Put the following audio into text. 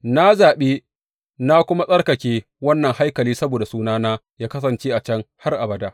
Na zaɓi na kuma tsarkake wannan haikali saboda Sunana yă kasance a can har abada.